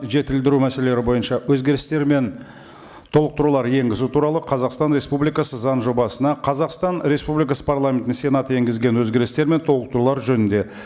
жетілдіру мәселелері бойынша өзгерістер мен толықтырулар енгізу туралы қазақстан республикасы заң жобасына қазақстан республикасы парламентының сенаты енгізген өзгерістер мен толықтырулар жөнінде